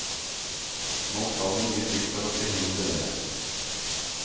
Nå skal det mye til for å forhindre det.